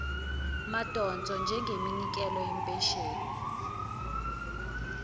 madonso njengeminikelo yempesheni